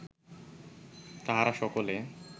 তাহারা সকলে